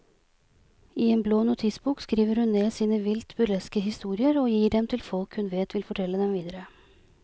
I en blå notisbok skriver hun ned sine vilt burleske historier og gir dem til folk hun vet vil fortelle dem videre.